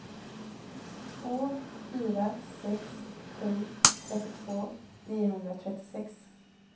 två fyra sex sju trettiotvå niohundratrettiosex